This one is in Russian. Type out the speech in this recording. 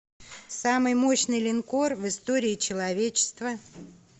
самый мощный линкор в истории человечества